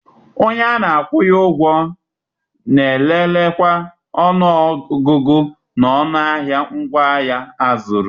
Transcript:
Onye a na-akwụnye ụgwọ na-elelekwa ọnụọgụgụ na ọnụ ahịa ngwaahịa a zụrụ.